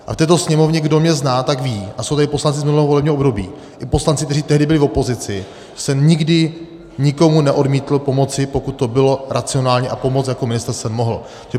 A v této Sněmovně, kdo mě zná, tak ví, a jsou tady poslanci z minulého volebního období i poslanci, kteří tehdy byli v opozici, jsem nikdy nikomu neodmítl pomoc, pokud to bylo racionální a pomoci jako ministr jsem mohl.